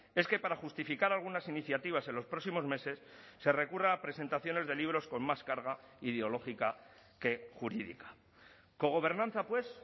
es que para justificar algunas iniciativas en los próximos meses se recurra a presentaciones de libros con más carga ideológica que jurídica cogobernanza pues